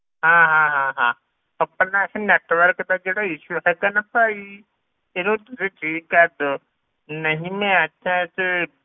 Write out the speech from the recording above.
ਹਾਂ ਹਾਂ ਹਾਂ ਹਾਂ ਆਪਣਾ ਇਹ ਜਿਹੜਾ network ਦਾ ਇਹ issue ਹੈਗਾ ਨਾ ਭਾਈ ਇਹਨੂੰ ਤੁਸੀਂ ਠੀਕ ਕਰ ਦਓ, ਨਹੀਂ ਮੈਂ ਅੱਛਾ ਤੇ